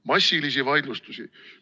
Massilisi vaidlustusi!